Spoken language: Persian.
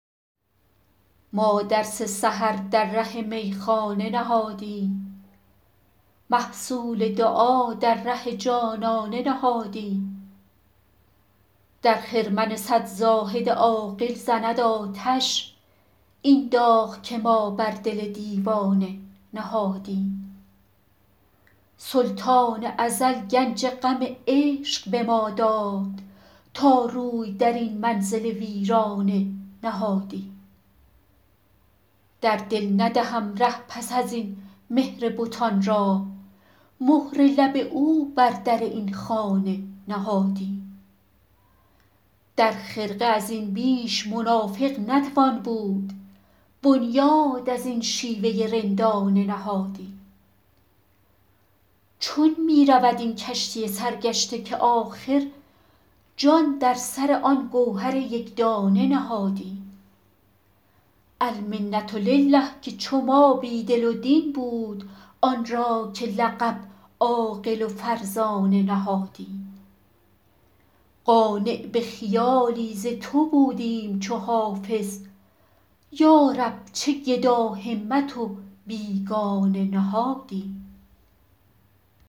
ما درس سحر در ره میخانه نهادیم محصول دعا در ره جانانه نهادیم در خرمن صد زاهد عاقل زند آتش این داغ که ما بر دل دیوانه نهادیم سلطان ازل گنج غم عشق به ما داد تا روی در این منزل ویرانه نهادیم در دل ندهم ره پس از این مهر بتان را مهر لب او بر در این خانه نهادیم در خرقه از این بیش منافق نتوان بود بنیاد از این شیوه رندانه نهادیم چون می رود این کشتی سرگشته که آخر جان در سر آن گوهر یک دانه نهادیم المنة لله که چو ما بی دل و دین بود آن را که لقب عاقل و فرزانه نهادیم قانع به خیالی ز تو بودیم چو حافظ یا رب چه گداهمت و بیگانه نهادیم